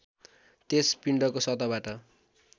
त्यस पिण्डको सतहबाट